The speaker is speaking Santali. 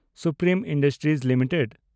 supreme industries limited